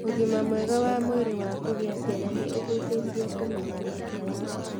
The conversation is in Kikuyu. Ũgima mwega wa mwĩrĩ wa kũgĩa ciana nĩ ũhutĩtie kũmenya mĩhaka yaku.